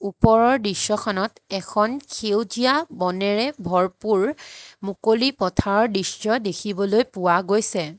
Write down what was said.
ওপৰৰ দৃশ্যখনত এখন সেউজীয়া বনেৰে ভৰপুৰ মুকলি পথাৰৰ দৃশ্য দেখিবলৈ পোৱা গৈছে।